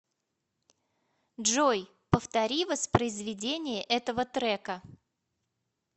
джой повтори воспроизведение этого трека